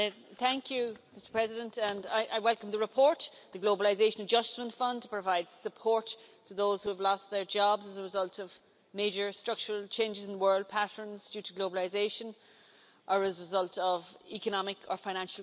Mr President, I welcome the report on the Globalisation Adjustment Fund to provide support to those who have lost their jobs as a result of major structural changes in world patterns due to globalisation, or as a result of economic or financial crises.